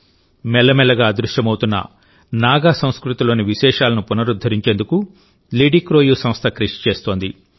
మెల్లమెల్లగా అదృశ్యమవుతున్న నాగా సంస్కృతిలోని విశేషాలను పునరుద్ధరించేందుకు లిడిక్రోయు సంస్థ కృషి చేస్తోంది